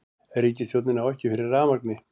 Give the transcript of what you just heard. Ríkisstjórnin á ekki fyrir rafmagni